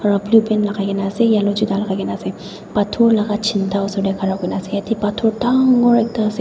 aro blue pant lagai kina ase yellow juta lagai kina ase pathor laka chinta osor de ghara kurina ase yete pathor dangooorr ekta ase.